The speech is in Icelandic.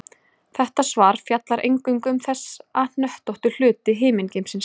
Þetta svar fjallar eingöngu um þessa hnöttóttu hluti himingeimsins.